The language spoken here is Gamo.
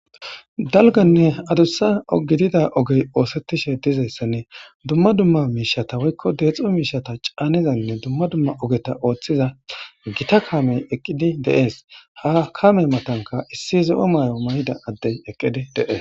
Dalganne adussa ogidida ogey oosettishe dizayssanne dumma dumma miishata woykko deexo miishata caanizanne dumma dumma ogeta ooththiza gita kaamey eqqidi deees ha kame matanka issi zo7o maay7o may7da addey eqqidi deees